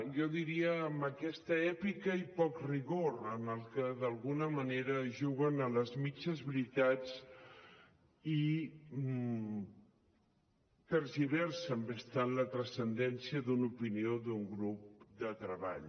jo diria amb aquesta èpica i poc rigor en el que d’alguna manera juguen a les mitges veritats i tergiversen bastant la transcendència d’una opinió d’un grup de treball